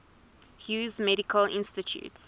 hughes medical institute